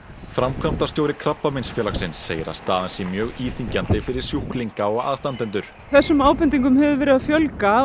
framkvæmdastjóri Krabbameinsfélagsins segir að staðan sé mjög íþyngjandi fyrir sjúklinga og aðstandendur þessum ábendingum hefur verið að fjölga